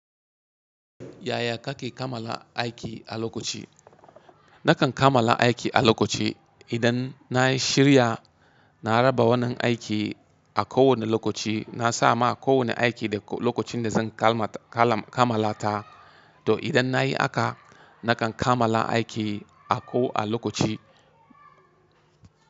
Yaya kake kamala aiki a lokaci? Nakan kamala aiki a lokaci. Idan na yi shirya, na raba wannan aiki a kowane lokaci. Na sa ma kowane aiki da lokacin da zan kamala ta. To idan na yi haka, nakan kamala aiki a ko a lokaci.